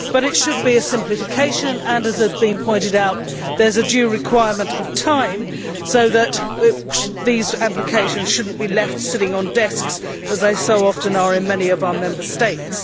But it should be a simplification and, as has been pointed out, there is a due requirement of time so that these applications should not be left sitting on desks as they so often are in many of our Member States.